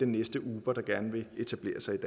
næste uber der gerne vil etablere sig i